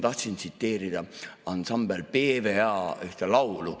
Tahtsin tsiteerida ansambel P.W.A. ühte laulu.